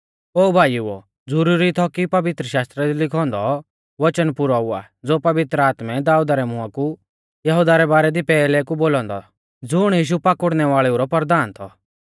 ओ भाईओ ज़ुरुरी थौ कि पवित्रशास्त्रा दी लिखौ औन्दौ वचन पुरौ हुआ ज़ो पवित्र आत्मै दाऊदा रै मुआं कु यहुदा रै बारै दी पैहलै कु थौ बोलौ औन्दौ ज़ुण यीशु पाकुड़नै वाल़ेऊ रौ परधान थौ